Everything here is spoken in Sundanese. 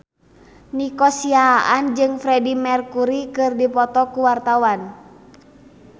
Nico Siahaan jeung Freedie Mercury keur dipoto ku wartawan